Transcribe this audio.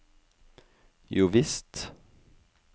jovisst